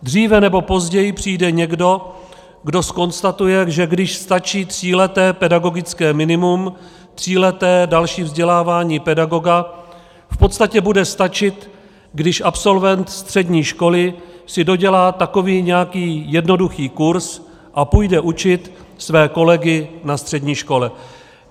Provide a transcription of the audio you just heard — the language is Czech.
Dříve nebo později přijde někdo, kdo zkonstatuje, že když stačí tříleté pedagogické minimum, tříleté další vzdělávání pedagoga, v podstatě bude stačit, když absolvent střední školy si dodělá takový nějaký jednoduchý kurz a půjde učit své kolegy na střední škole.